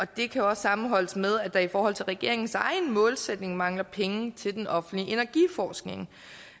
det kan også sammenholdes med at der i forhold til regeringens egen målsætning mangler penge til den offentlige energiforskning